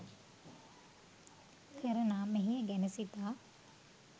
කරනා මෙහෙය ගැන සිතා